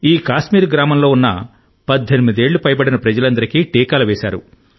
ఈ కాశ్మీర్ గ్రామంలో ఉన్న 18 ఏళ్లు పైబడిన ప్రజలందరికీ టీకాలు వేశారు